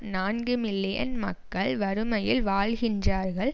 நான்கு மில்லியன் மக்கள் வறுமையில் வாழ்கின்றார்கள்